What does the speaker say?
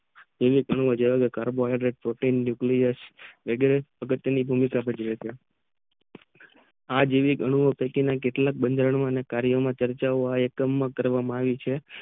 carbo હાઇડેટ ના સંયોજન થી એટલે કે સમીક્ષા આ જીવન એનુંવો કેટલા કે બાધરન કરવામાં આવી